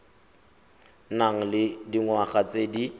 nang le dingwaga tse di